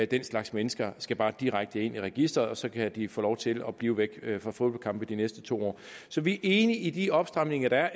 den slags mennesker skal bare direkte ind i registeret og så kan de få lov til at blive væk fra fodboldkampe i de næste to år så vi er enige i de opstramninger der er